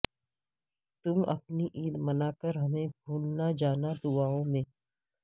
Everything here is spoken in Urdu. تم اپنی عید مناکر ہمیں بھول نہ جانا دعائوں میں